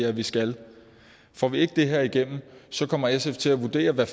at vi skal får vi ikke det her igennem kommer sf til at vurdere hvad